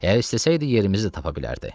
Əgər istəsəydi yerimizi də tapa bilərdi.